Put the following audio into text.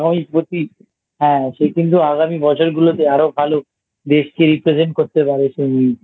সে কিন্তু আগামী বছরগুলোতে আরো ভালো দেশকে Represent করতে পারে